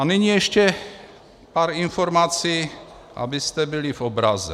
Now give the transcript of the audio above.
A nyní ještě pár informací, abyste byli v obraze.